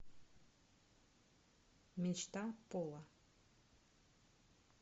мечта пола